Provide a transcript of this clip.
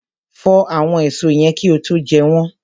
Fọ àwọn èso yẹn kí ó tó jẹ́ wọn.